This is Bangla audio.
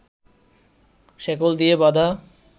শেকল দিয়ে বাঁধা